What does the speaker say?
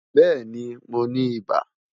Bẹẹni, Mo ni iba